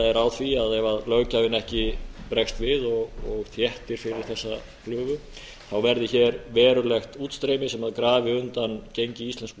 er á því að ef löggjafinn ekki bregst við og þéttir fyrir þessa hinu verði hér verulegt útstreymi sem grafi undan gengi íslensku